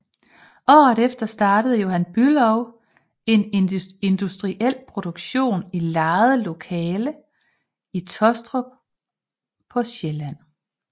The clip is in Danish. Året efter startede Johan Bülow en industriel produktion i lejede lokaler i Taastrup på Sjælland